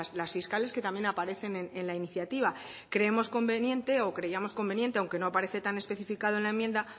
las fiscales que también aparecen en la iniciativa creemos conveniente o creíamos conveniente aunque no aparece tan especificado en la enmienda